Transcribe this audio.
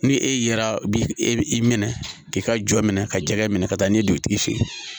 Ni e yera bi e minɛ k'i ka jɔ minɛ ka jɛgɛ minɛ ka taa n'i ye dugutigi fɛ yen